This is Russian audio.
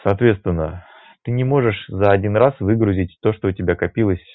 соответственно ты не можешь за один раз выгрузить то что у тебя копилось